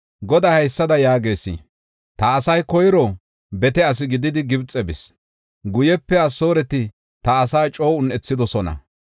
Goday haysada yaagees: Ta asay koyro bete asi gididi Gibxe bis; guyepe Asooreti ta asaa coo un7ethidosona.